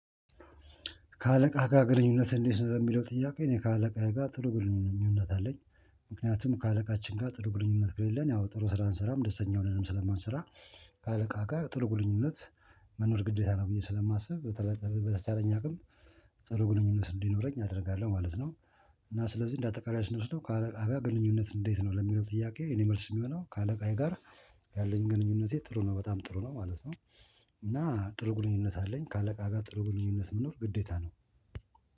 ከአለቃህ ጋር ግንኙነት እንዴት ነው? ለሚለው ጥያቄ እኔ ከአለቃየ ጋር ጥሩ ግንኙነት አለኝ። ምክንያቱም ከአለቃችን ጋር ጥሩ ግንኙነት ከለለን ያው ጥሩ ስራ አንሰራም ደስተኛ ሆነንም ስለማንሰራ። አለቃ ጋር ጥሩ ግንኝነት መኖር ግዴታ ነው ብዬ ስለማስብ በተቻለኝ አቅም ጽሩ ግንኙነት እንዲኖረኝ አደርጋለሁ ማለት ነው። እና ስለዚህ እንደ አጠቃላይ ስንወስደው ከአለቃ ጋር ግንኙነት እንዴት ነው? ለሚለው ጥያቄ የኔ መልስ የሚሆነው ከአለቃዬ ጋር ያለኝ ግንኙነቴ ጥሩ ነው በጣም ጥሩ ነው ማለት ነው። እና ጥሩ ግንኙነት አለኝ ከአለቃ ጋር ጥሩ ግንኙነት መኖር ግዴታ ነው